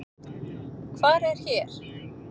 Hvar er hér?